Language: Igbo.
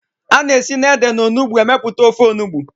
Ana esi na ede na onugbu emeputa ofe onugbu